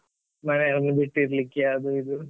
ಮನೆಯವರನ್ನು ಬಿಟ್ಟಿರ್ಲಿಕ್ಕೆ ಅದು ಇದು.